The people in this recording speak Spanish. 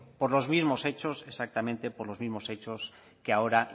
por los mismos hechos exactamente por los mismos hechos que ahora